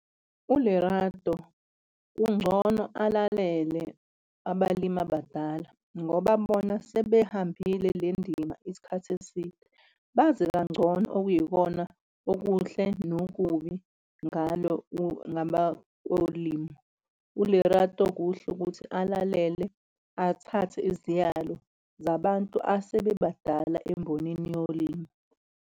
ULerato kungcono alalele abalimi abadala ngoba bona sebehambile le ndima isikhathi eside, bazi kangcono okuyikona okuhle nokubi ngalo kolimo. ULerato kuhle ukuthi alalele athathe iziyalo zabantu asebebadala embonini yolimo.